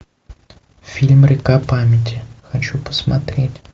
фильм река памяти хочу посмотреть